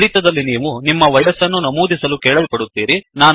ಫಲಿತದಲ್ಲಿ ನೀವು ನಿಮ್ಮ ವಯಸ್ಸನ್ನು ನಮೂದಿಸಲು ಕೇಳಲ್ಪಡುತ್ತೀರಿ